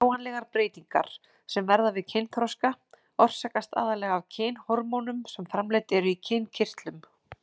Sjáanlegar breytingar sem verða við kynþroska orsakast aðallega af kynhormónum sem framleidd eru í kynkirtlum.